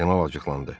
Kardinal acıqlandı.